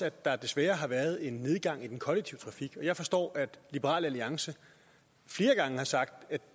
at der desværre har været en nedgang i den kollektive trafik og jeg forstår at liberal alliance flere gange har sagt at